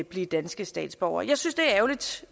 blive danske statsborgere jeg synes det